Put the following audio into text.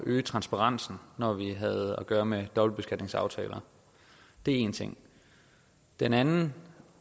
øge transparensen når vi havde at gøre med dobbeltbeskatningsaftaler det er én ting den anden